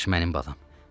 Yavaş, mənim balam.